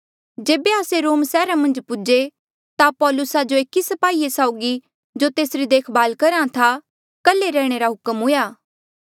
जेबे आस्से रोम सैहरा मन्झ पूजे ता पौलुसा जो एकी स्पाही साउगी जो तेसरी देख भाल करहा था कल्हे रैहणे रा हुक्म हुआ